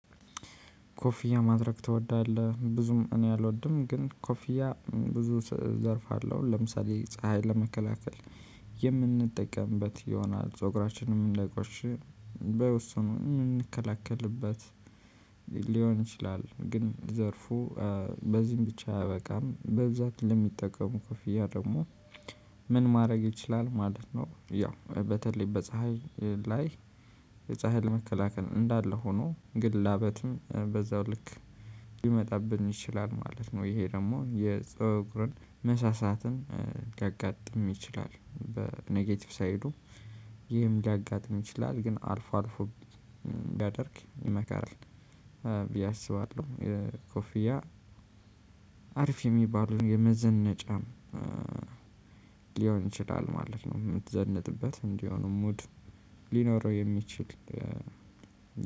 ኮፊያ ማድረግ ትወዳለህ ብዙም እኔ አልወድም ግን ኮፊያ ብዙ ዘርፍ አለው ለምሳሌ ፀሀይ ለመከላከል የምንጠቀምበት ይሆናል ፀጉራችንም እንዳይቆሽሽ በውስጡም የምንከላከልበት ሊሆን ይችላል። ግን ዘርፉ በዚህም ብቻ አያበቃም በብዛች ለሚጠቀሙ ኮፍያ ደግሞ ምን ማድረግ ይችላል ማለት ነው? ያው በተለይ በፀሀይ ላይ የፀሀይ ለመከላከል እንዳለ ሆኖ ግን ላበትም በዛው ልክ ሊመጣብን ይችላል ማለት ነው። ይሄ ደግሞ የፀጉርን መሳሳትን ሊያጋጥም ይችላል። በኔጌቲቭ ሳይዱ ይህም ሊያጋጥም ይችላል። ግን አልፎ አልፎ ቢያደርግ ይመከራል ብዬ አስባለሁ። ኮፊያ አሪፍ የሚባሉን የመዘነጫም ሊሆን ይችላል ማለት ነው። የምትዘነጥበት እንዲሆኑ ሙድ ሊኖረው የሚችል